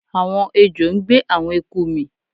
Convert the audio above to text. Àwọn ejò ń gbé àwọn eku mì